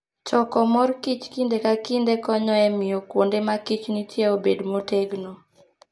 Choko mor kich kinde ka kinde konyo e miyo kuonde ma kich nitie obed motegno.